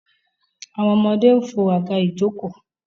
àwọn ọmọdé ń fo àga ìjokòó.